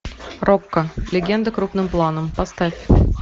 рокко легенда крупным планом поставь